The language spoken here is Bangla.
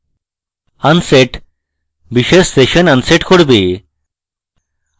unset বিশেষ session unset করবে